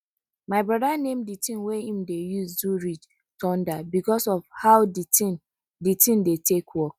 my broda name di tin wey em dey use do ridge thunder because of how di tin di tin dey take work